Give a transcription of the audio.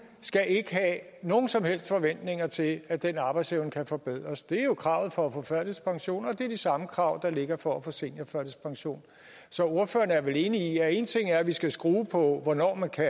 skal ikke have nogen som helst forventninger til at den arbejdsevne kan forbedres det er jo kravet for at få førtidspension og det er de samme krav der ligger for at få seniorførtidspension så ordføreren er vel enig i at én ting er at vi skal skrue på hvornår man kan